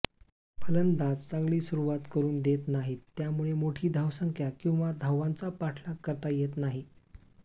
फलंदाज चांगली सुरूवात करुन देत नाहीत त्यामुळे मोठी धावसंख्या किंवा धावांचा पाठलाग करता येत नाही